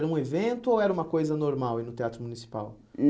Era um evento ou era uma coisa normal ir ao Teatro Municipal?